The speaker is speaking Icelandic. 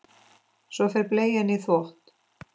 Svo fer bleian í þvott.